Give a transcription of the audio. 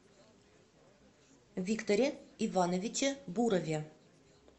викторе ивановиче бурове